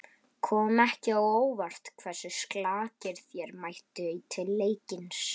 Kom ekki á óvart hversu slakir þeir mættu til leiks?